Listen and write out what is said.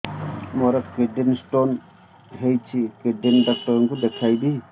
ମୋର kidney stone ହେଇଛି kidney doctor କୁ ଦେଖାଇବି